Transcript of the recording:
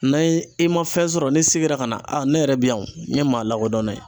N'a ye i ma fɛn sɔrɔ ni segira ka na , a ne yɛrɛ bi yan , n ye maa lakodɔn ye.